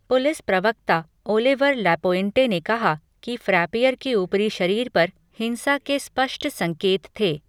Police प्रवक्ता Oliver LaPointe ने कहा कि फ्रैपियर के ऊपरी शरीर पर "हिंसा के स्पष्ट संकेत" थे।